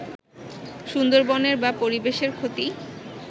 সুন্দরবনের বা পরিবেশের ক্ষতি